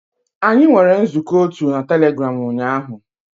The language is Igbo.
Anyị nwere nzukọ otu na Telegram ụnyaahụ